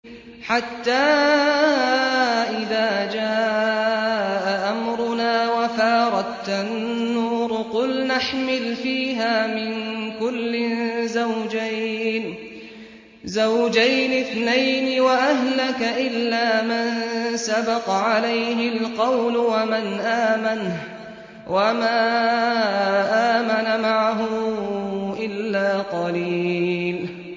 حَتَّىٰ إِذَا جَاءَ أَمْرُنَا وَفَارَ التَّنُّورُ قُلْنَا احْمِلْ فِيهَا مِن كُلٍّ زَوْجَيْنِ اثْنَيْنِ وَأَهْلَكَ إِلَّا مَن سَبَقَ عَلَيْهِ الْقَوْلُ وَمَنْ آمَنَ ۚ وَمَا آمَنَ مَعَهُ إِلَّا قَلِيلٌ